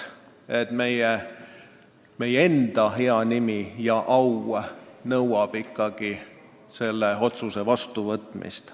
Meie enda au nõuab ikkagi selle otsuse vastuvõtmist.